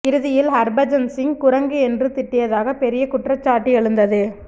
இறுதியில் ஹர்பஜன் சிங் குரங்கு என்று திட்டியதாக பெரிய குற்றச்சாட்டு எழுந்தது